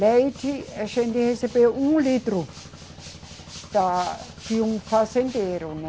Leite a gente recebeu um litro da, de um fazendeiro, né?